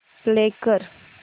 play कर